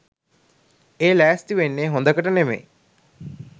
ඒ ලෑස්ති වෙන්නේ හොඳකට නෙමෙයි.